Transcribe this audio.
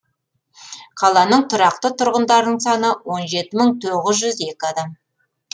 қаланың тұрақты тұрғындарының саны он жеті мың тоғыз жүз екі адам